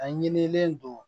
A ɲinilen don